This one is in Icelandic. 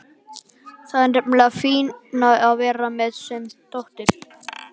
Það er nefnilega fínna að vera sen en dóttir.